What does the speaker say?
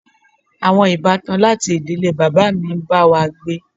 Àwọn ìbátan láti ìdílé bàbá mi ń bá wa gbé.